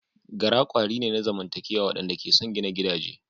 Gara kwari ne na zamantakewa waɗanda ke son gina gidaje.